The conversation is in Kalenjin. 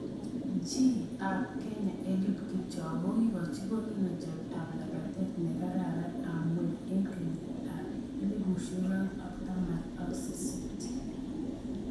Chi ab Kenya Eliud Kipchoge kokikochi konunotiot ab lapatindet ne kararan ab ngweny eng kenyit ab 2018.